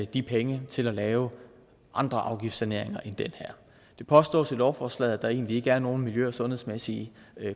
de penge til at lave andre afgiftssaneringer end den her det påstås i lovforslaget at der egentlig ikke er nogen miljø og sundhedsmæssige